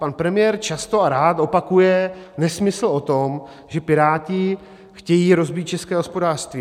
Pan premiér často a rád opakuje nesmysl o tom, že Piráti chtějí rozbít české hospodářství.